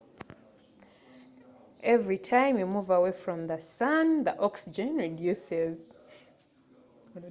omukka gukendeera buli lwe weyongerayo okuva mu masekati g'omusana